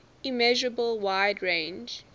immeasurable wide range